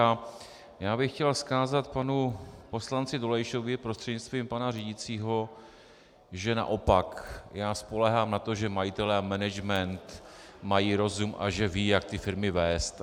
A já bych chtěl vzkázat panu poslanci Dolejšovi prostřednictvím pana řídícího, že naopak já spoléhám na to, že majitelé a management mají rozum a že vědí, jak ty firmy vést.